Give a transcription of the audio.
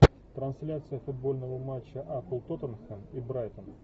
трансляция футбольного матча апл тоттенхэм и брайтон